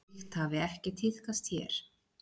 Slíkt hafi ekki tíðkast hér.